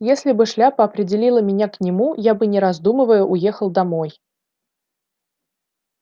если бы шляпа определила меня к нему я бы не раздумывая уехал домой